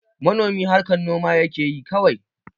Manomi harkan noma yakeyi kawai